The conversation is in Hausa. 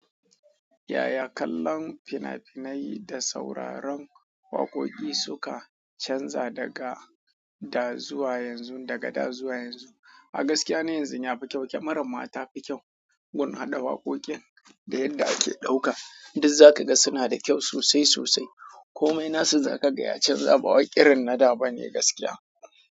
Yaya kallon fina-finai da sauraron waƙoƙi suka canza daga dazuwa yanzu, daga dazuwa yanzu? A gaskiya na yanzu ya fi kyau. Kyamarar ma ta fi kyau, gun hada waƙoƙin da yadda ake ɗauka. Duka za ka ga suna da kyau sosai sosai. Komai nasu za ka ga ya canza, ba wai ƙirin na da ba ne gaskiya.